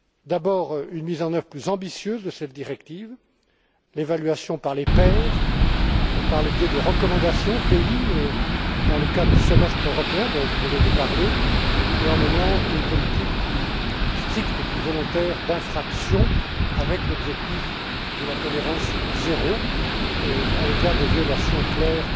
D'abord une mise en œuvre plus ambitieuse de cette directive, l'évaluation par les pairs, par le biais de recommandations Pays dans le cadre du semestre européen dont vous venez de parler et en menant une politique plus stricte et plus volontaire en matière d'infractions avec l'objectif de la tolérance zéro à l'égard des violations claires